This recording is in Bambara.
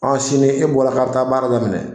An sini e bɔra k'a bɛ taa baara daminɛ